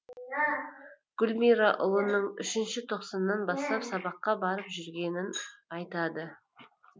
гүлмира ұлының үшінші тоқсаннан бастап сабаққа барып жүргенін айтады